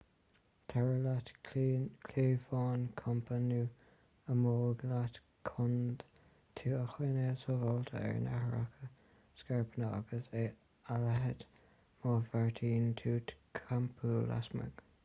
tabhair leat cliabhán campa nó ámóg leat chun tú a choinneáil sábháilte ar nathracha scairpeanna agus a leithéid má bheartaíonn tú campáil lasmuigh